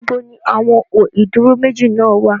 Níbo ni àwọn ó ìdúró méjì náà wà?